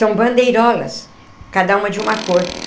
São bandeirolas, cada uma de uma cor.